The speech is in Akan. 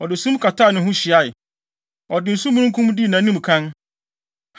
Ɔde sum kataa ne ho hyiae, ɔde osu mununkum dii nʼanim kan.